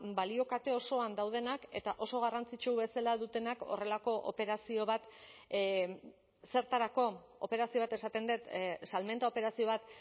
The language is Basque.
balio kate osoan daudenak eta oso garrantzitsu bezala dutenak horrelako operazio bat zertarako operazio bat esaten dut salmenta operazio bat